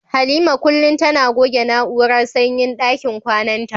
Halima kullum tana goge na'urar sanyin dakin kwananta.